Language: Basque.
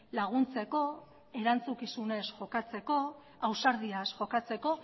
laguntzeko erantzukizunez jokatzeko ausardiaz jokatzeko